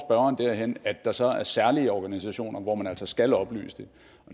derhen at der så er særlige organisationer hvor man altså skal oplyse det